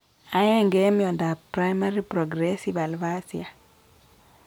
Aenge en miondap primary progressive aphasia .